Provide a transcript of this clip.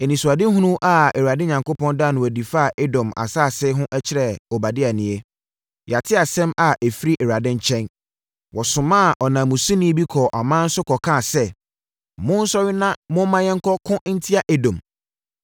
Anisoadehunu a Awurade Onyankopɔn daa no adi faa Edom asase ho kyerɛɛ Obadia nie: Yɛate asɛm a ɛfiri Awurade nkyɛn. Wɔsomaa ɔnanmusini bi kɔɔ aman so kɔkaa sɛ, “Monsɔre na momma yɛnkɔko ntia Edom.”